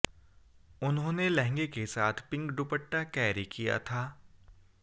उन्होंने लहंगे के साथ पिंक दुपट्टा कैरी किया था